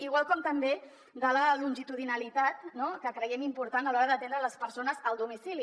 igual com també de la longitudinalitat que creiem important a l’hora d’atendre les persones al domicili